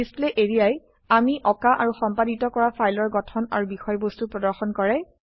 display areaএ আমি অকা আৰু সম্পাদিত কৰা ফাইলৰ গঠন আৰু বিষয়বস্তু প্ৰদৰ্শন কৰে